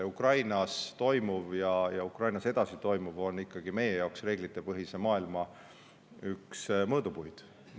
Ukrainas praegu ja edaspidi toimuv on meie jaoks ikkagi reeglitepõhise maailma üks mõõdupuid.